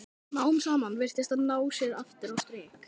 Smám saman virtist hann ná sér aftur á strik.